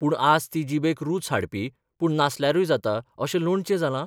पूण आज ती जिबेक रूच हाडपी पूण नासल्यारूय जाता अशें लोणचें जालां?